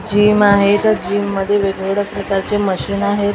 Gym आहेत त्या gym मध्ये वेगवेगळे प्रकारचे मशीन आहेत.